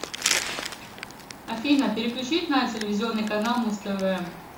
афина переключить на телевизионный канал муз тв